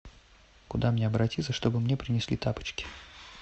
куда мне обратиться чтобы мне принесли тапочки